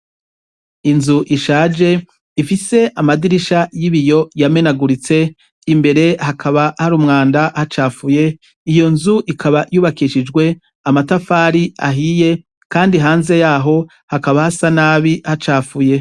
Inzu ishaje ifise amadirisha y'ibiyo yamenaguritse, imbere hakaba hari umwanda hacafuye. Iyo nzu ikaba yubakishijwe amatafari ahiye kandi hanze yaho hakaba hasa nabi hacafuye.